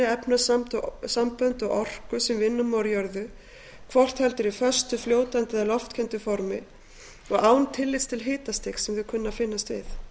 efnasambönd og orku sem vinna má úr jörðu hvort heldur í föstu fljótandi eða loftkenndu formi og án tillits til hitastigs sem þau kunna að finnast við